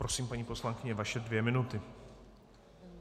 Prosím, paní poslankyně, vaše dvě minuty.